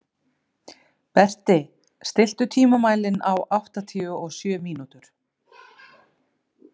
Berti, stilltu tímamælinn á áttatíu og sjö mínútur.